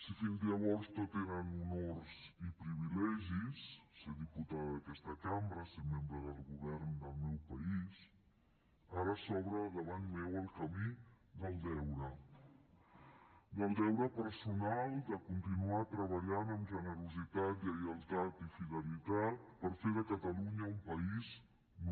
si fins llavors tot eren honors i privilegis ser diputada d’aquesta cambra ser membre del govern del meu país ara s’obre davant meu el camí del deure del deure personal de continuar treballant amb generositat lleialtat i fidelitat per fer de catalunya un país